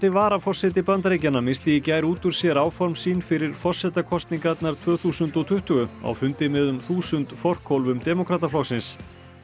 varaforseti Bandaríkjanna missti í gær út úr sér áform sín fyrir forsetakosningarnar tvö þúsund og tuttugu á fundi með um þúsund forkólfum demókrataflokksins